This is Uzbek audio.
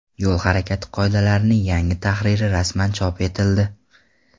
Yo‘l harakati qoidalarining yangi tahriri rasman chop etildi .